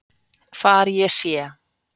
Hvar ég sé.